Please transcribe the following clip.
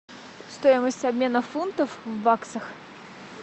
стоимость обмена фунтов в баксах